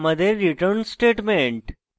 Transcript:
এটি আমাদের return statement